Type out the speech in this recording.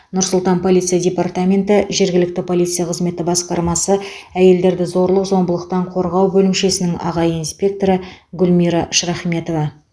нұр сұлтан полиция департаменті жергілікті полиция қызметі басқармасы әйелдерді зорлық зомбылықтан қорғау бөлімшесінің аға инспекторы гүлмира шрахметова